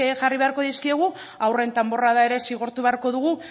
jarri beharko dizkiegu haurren danborrada ere zigortu beharko dugu